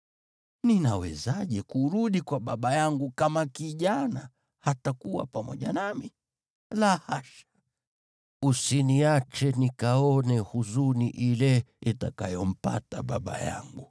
Ninawezaje kurudi kwa baba yangu kama kijana hatakuwa pamoja nami? La hasha! Usiniache nikaone huzuni ile itakayompata baba yangu.”